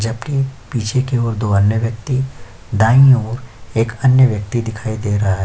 जब की पीछे की और दो अन्य व्यक्ति दायी ओर एक अन्य व्यक्ति दिखाई दे रहा --